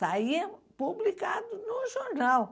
Saía publicado no jornal.